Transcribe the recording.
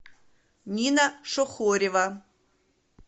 нина шухорева